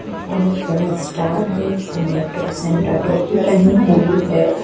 बहोत बड़ा स्टार है स्नेटो सैंटा टोपी पहनी हुई है।